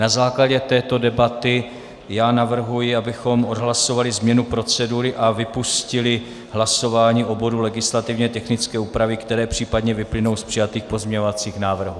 Na základě této debaty navrhuji, abychom odhlasovali změnu procedury a vypustili hlasování o bodu legislativně technické úpravy, které případně vyplynou z přijatých pozměňovacích návrhů.